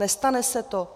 Nestane se to?